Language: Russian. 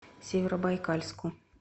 северобайкальску